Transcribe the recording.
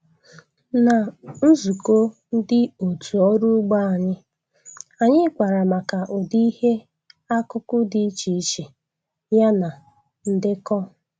Na nzukọ ndị otu ọrụ ugbo anyị, anyị kpara maka ụdị ihe akụkụ dị iche iche ya na ndekọ